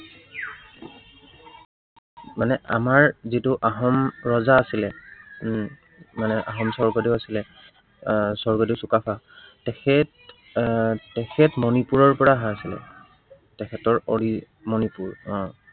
মানে আমাৰ যিটো আহোম ৰজা আছিলে, মানে আহোম স্বৰ্গদেউ আছিলে, আহ স্বৰ্গদেউ চুকাফা। তেখেত আহ তেখেত আহ মনিপুৰৰ পৰা অহা হৈছিলে, তেখেতৰ original মণিপুৰ আহ